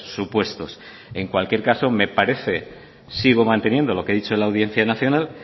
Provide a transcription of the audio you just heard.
supuestos en cualquier caso me parece sigo manteniendo lo que ha dicho la audiencia nacional